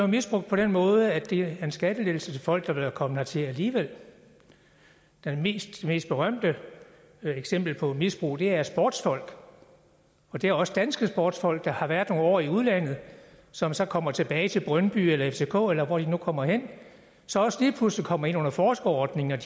misbrugt på den måde at det er en skattelettelse til folk der ville være kommet hertil alligevel det mest mest berømte eksempel på misbrug er sportsfolk og det er også danske sportsfolk der har været nogle år i udlandet som så kommer tilbage til brøndby eller fck eller hvor de nu kommer hen som også lige pludselig kommer ind under forskerordningen